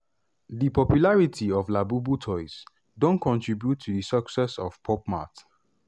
di popularity of labubu toys don contribute to di success of pop mart.